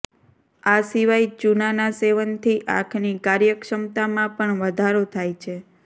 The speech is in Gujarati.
આ સિવાય ચૂના ના સેવન થી આંખ ની કાર્યક્ષમતા મા પણ વધારો થાય છે